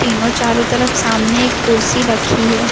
तीनों चारों तरफ सामने एक कुर्सी रखी है।